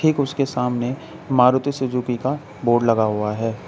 उसके सामने मारुति सुजुकी का बोर्ड लगा हुआ है।